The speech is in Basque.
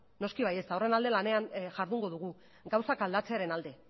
noski baietz eta horren alde lanean jardungo dugu gauzak aldatzearen alde